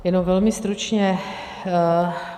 Jenom velmi stručně.